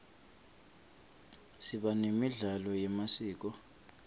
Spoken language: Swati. siba nemidlalo yemasiko